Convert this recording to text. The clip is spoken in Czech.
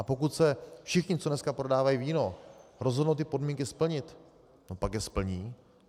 A pokud se všichni, co dneska prodávají víno, rozhodnou ty podmínky splnit, pak je splní.